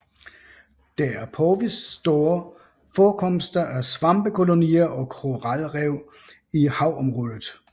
Der er påvist store forekomster af svampekolonier og koralrev i havområdet